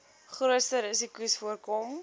grootste risikos voorkom